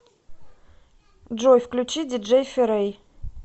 джой включи диджей ферэй